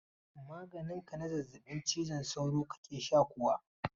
Maganin ka na zazzabin cizon sauro kake sha kuwa?